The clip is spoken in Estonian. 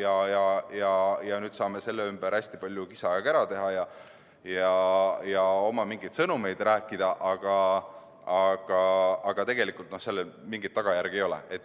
ja nüüd saame selle ümber hästi palju kisa ja kära teha ja mingisuguseid oma sõnumeid rääkida, aga tegelikult sellel mingeid tagajärgi ei ole.